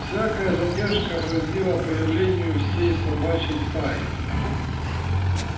всякая задержка грозила появлением всей собачьей стаи